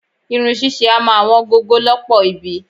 Irun ṣíṣe a máa wọn gogo lọ́pọ̀ ibi.